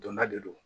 Donda de don